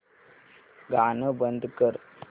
गाणं बंद कर